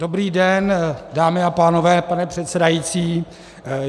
Dobrý den, dámy a pánové, pane předsedající.